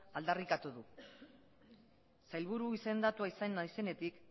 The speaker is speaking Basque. aldarrikatu du sailburu izendatua izan naizenetik